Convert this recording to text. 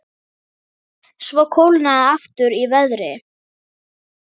Svo kólnaði aftur í veðri.